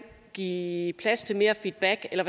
give plads til mere feedback eller